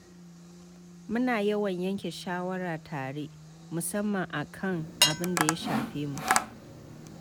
Muna yawan yanke shawara tare, musamman a kan abin da ya shafe mu.